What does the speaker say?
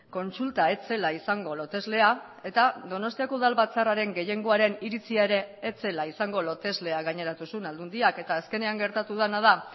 kontsulta ez zela izango loteslea eta donostiako udalbatzarraren gehiengoaren iritzia ere ez zela izango loteslea gaineratu zuen aldundiak eta azkenean gertatu dena da